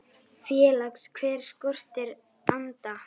Félags- hve hér skortir anda.